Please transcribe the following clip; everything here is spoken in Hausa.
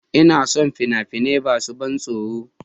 Ina son fina-finai masu ban tsoro